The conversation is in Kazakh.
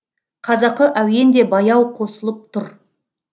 қазақы әуен де баяу қосылып тұр